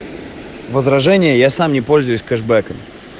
возражение я сам не пользуюсь кэшбэком